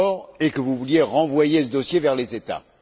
et que vous vouliez renvoyer ce dossier vers les États.